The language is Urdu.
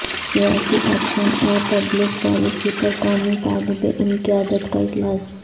سیاسی ایکشن اور پبلک پالیسی پر قومی طالب علم قیادت کا اجلاس